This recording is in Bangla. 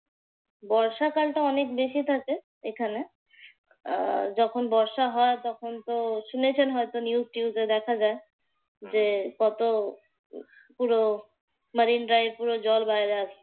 বর্ষাকালটা অনেক বেশি থাকে এখানে। আহ যখন বর্ষা হয় তখনতো শুনেছেন হয়ত news টিউজে দেখা যায় যে কত পুরো মারিন্দ্রায় পুরো জল বাইরে আসছে।